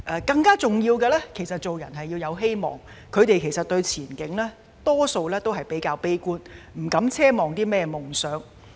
更重要的是，做人要有希望，他們大多數對前景會較為悲觀，不敢奢望有夢想。